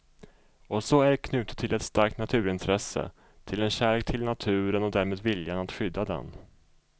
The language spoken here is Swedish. Och så är det knutet till ett starkt naturintresse, till en kärlek till naturen och därmed viljan att skydda den.